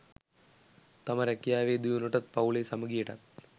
තම රැකියාවේ දියුණුවටත් පවු‍ලේ සමගියටත්